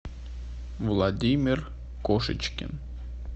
владимир кошечкин